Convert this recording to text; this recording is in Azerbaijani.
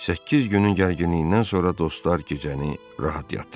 Səkkiz günün gərginliyindən sonra dostlar gecəni rahat yatdılar.